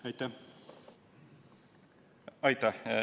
Aitäh!